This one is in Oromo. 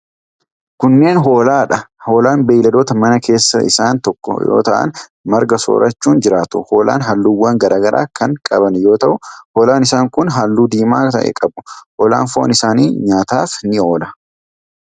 Kunneen hoolaa dha. Hoolaan beeyiladoota manaa keessaa isaan tokko yoo ta'an, marga soorachuun jiraatu. Hoolaan halluuwwan garaa garaa kan qaban yoo ta'u, hoolaan isaan kun halluu diimaa ta'e qabu. Hoolaan foon isaanii nyaataaf ni oola.